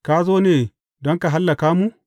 Ka zo ne don ka hallaka mu?